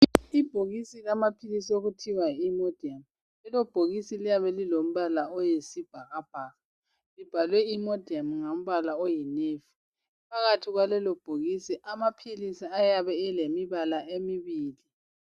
Ibhokisi lamaphilisi okuthiwa yi imodium lelo bhokisi liyabe lilombala oyisibhakabhaka libhalwe imodium ngombala oyinevi phakathi kwalelo bhokisi amaphilisi ayabe elembala emibili.